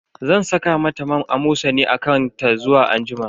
Zan saka mata man Amosani a kan ta zuwa anjima.